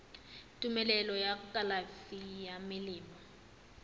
tumelelo ya kalafi ya melemo